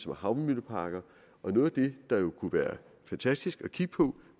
med havvindmølleparker noget af det der jo kunne være fantastisk at kigge på